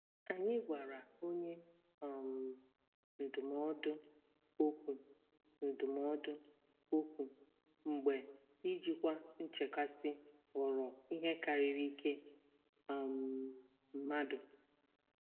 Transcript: Anyị gwara onye um ndụmọdụ okwu ndụmọdụ okwu mgbe ijikwa nchekasị ghọrọ ihe karịrị ike um mmadụ.